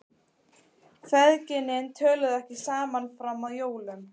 Feðginin töluðu ekki saman fram að jólum.